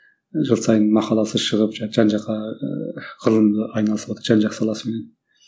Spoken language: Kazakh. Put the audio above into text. жыл сайын мақаласы шығып жан жаққа ыыы ғылым айналысыватыр жан жақ саласымен